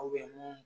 mun